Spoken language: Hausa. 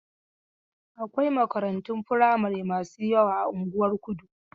Akwai makarantun firamari masu yawa a unguwar Kudu.